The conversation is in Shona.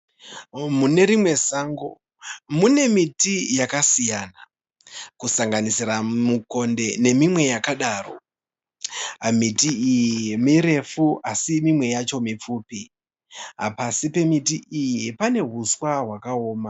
Mune rimwe sango mune miti yakasiyana kusanganisira mukonde nemimwe yakadaro. Miti iyi mirefu asi mimwe yacho mipfupi. Pasi pemiti iyi pane huswa hwakaoma.